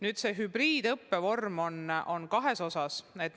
Nüüd, see hübriidõppevorm on kahes osas.